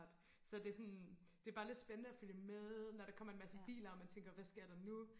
så det er sådan det er bare lidt spændende og følge med når der kommer en masse biler og man tænker hvad sker der nu